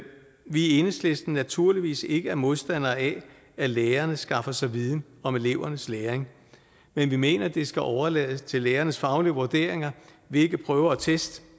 i enhedslisten naturligvis ikke er modstandere af at lærerne skaffer sig viden om elevernes læring men vi mener det skal overlades til lærernes faglige vurderinger hvilke prøver og test